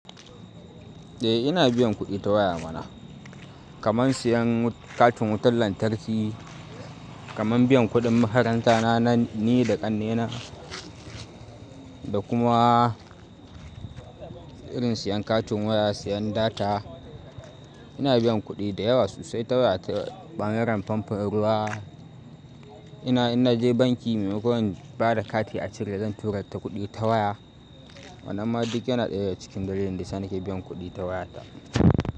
Eh ina biyan kuɗi ta waya mana. Kaman siyan katin wutan lantarki, kaman biyan kuɗin makaranta na ni da ƙannena, da kuma irin siyan katin waya, siyan data. Ina biyan kuɗi da yawa sosai ta waya, ta ɓangaren famfon ruwa. Ina, ina je banki maimakon in bada kati a cire zan tura ta kuɗi ta waya. Wannan ma duk yana ɗaya daga cikin dalilin da sa ni ke biyan kuɗi ta waya ta.